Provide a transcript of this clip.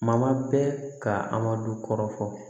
Ma bɛ ka a ma du kɔrɔ